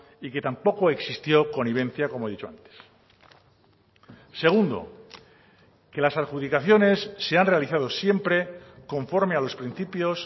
y que tampoco existió connivencia como he dicho antes segundo que las adjudicaciones se han realizado siempre conforme a los principios